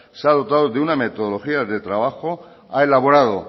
se ha dotado de una metodología de trabajo ha elaborado